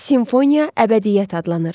Simfoniya əbədiyyət adlanır.